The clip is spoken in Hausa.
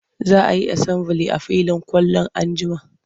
Za a yi asambili a filin kwallo an jima.